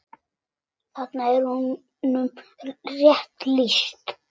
Þarna er honum rétt lýst.